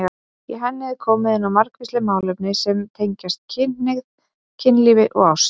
Í henni er komið inn á margvísleg málefni sem tengjast kynhneigð, kynlífi og ást.